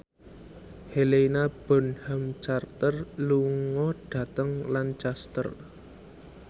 Helena Bonham Carter lunga dhateng Lancaster